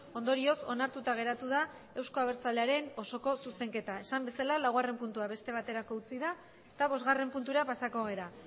ondorioz onartuta geratu da euzko abertzalearen osoko zuzenketa esan bezala laugarren puntua beste baterako utzi da eta bosgarren puntura pasako gara